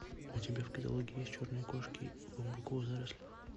у тебя в каталоге есть черные кошки в бамбуковых зарослях